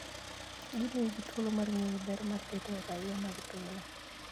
Gimiyo ji thuolo mar ng'eyo ber mar bedo raia mag pinyno.